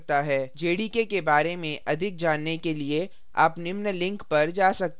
jdk के बारे में अधिक जानने के लिए आप निम्न link पर जा सकते हैं